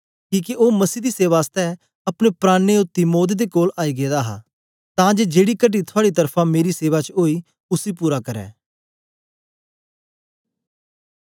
किके ओ मसीह दी सेवा आसतै अपने प्राणें औती मौत दे कोल आई गेदा हा तां जे जेड़ी कटी थुआड़ी तरफा मेरी सेवा च ओई उसी पूरा करै